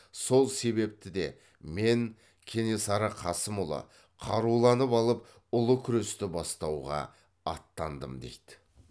сол себепті де мен кенесары қасымұлы қаруланып алып ұлы күресті бастауға аттандым дейді